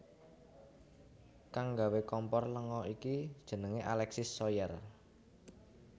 Kang nggawé kompor lenga iki jenengé Alexis Soyer